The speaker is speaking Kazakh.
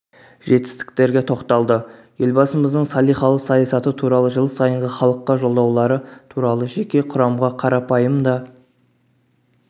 жетістіктерге тоқталды елбасымыздың салиқалы саясаты туралы жыл сайынғы халыққа жолдаулары туралы жеке құрамға қарапайым да